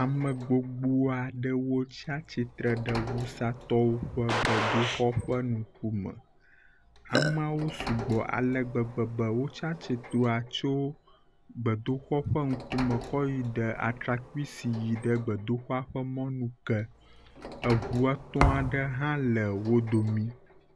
Ame gbogbo ɖewo tsatsitre ɖe wusatɔwo ƒe gbedoxɔ ƒe ŋkume. Ameawo sugbɔ ale gbegbe be wotsatsitrea tso gbedoxɔa ƒe ŋkume kɔ yi ɖe atrakpui si yi ɖe gbedoxɔa ƒe mɔnu ke. Eŋu etɔ̃ aɖe hã le wo domii.